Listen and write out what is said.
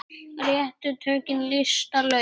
Réttu tökin lista laun.